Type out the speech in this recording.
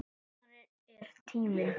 Sumarið er tíminn.